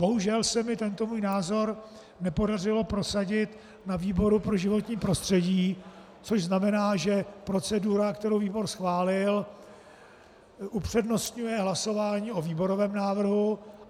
Bohužel se mi tento můj názor nepodařilo prosadit na výboru pro životní prostředí, což znamená, že procedura, kterou výbor schválil, upřednostňuje hlasování o výborovém návrhu.